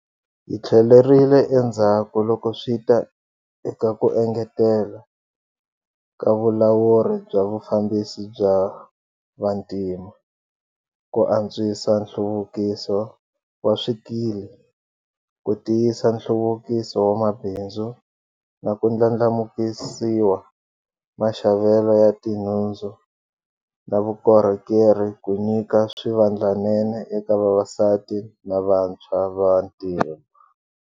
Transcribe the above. Hi tlhelerile endzhaku loko swi ta eka ku engetela ka vulawuri bya vufambisi bya vantima, ku antswisa nhluvukiso wa swikili, ku tiyisa nhluvukiso wa mabindzu na ku ndlandla mukisiwa maxavelo ya tinhundzu na vukorhokeri ku nyika swivandlanene eka vavasati na vantshwa va vantima.